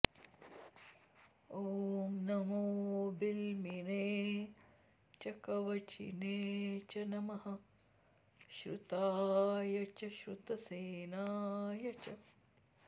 ॐ नमो॑ बि॒ल्मिने॑ च कव॒चिने॑ च॒ नमः॑ श्रु॒ताय॑ च श्रुतसे॒नाय॑ च